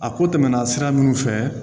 A ko tɛmɛna sira minnu fɛ